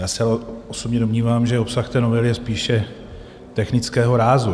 Já osobně se domnívám, že obsah té novely je spíše technického rázu.